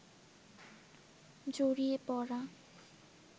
জড়িয়ে পড়া